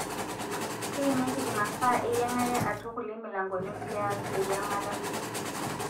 keimieki imasaa eyiangare atua kulie milangoni pias eyiangata.